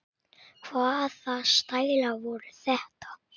Hvaða stælar voru þetta?